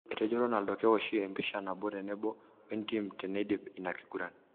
Etejo Ronaldo ,kewoshi empisha nabo tenebo wentim teneidip ina kiguran.